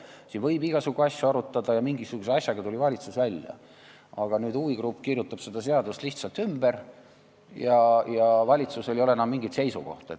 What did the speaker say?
Sellega seoses võib igasugu asju arutada ja mingisuguse lahendusega tuli valitsus välja, aga nüüd huvigrupp kirjutab seda eelnõu lihtsalt ümber ja valitsusel ei ole enam mingit seisukohta.